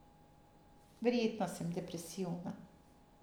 Verjetno sem depresivna.